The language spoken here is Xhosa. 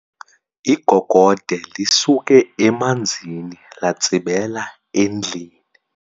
Igogode lisuke emanzini latsibela endlini.